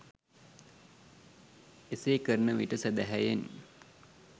එසේ කරන විට සැදැහැයෙන්